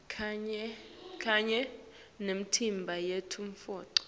kanye nemitimba yetemnotfo